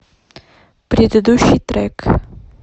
предыдущий трек